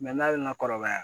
n'a bɛ na kɔrɔbaya